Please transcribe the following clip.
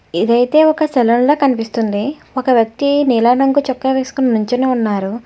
ఇదైతే ఒక సెలూన్ లా కనిపిస్తుంది ఒక వ్యక్తి నీలంరంగు చొక్కా వేసుకుని నించొని ఉన్నారు.